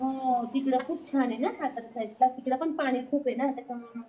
हम्म तिकडं खूप छाने ना सातारा साईट ला तिकडं खूपे ना